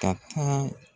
Ka taa